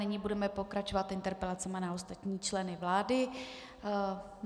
Nyní budeme pokračovat interpelacemi na ostatní členy vlády.